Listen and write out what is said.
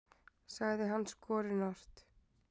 sagði hann skorinort.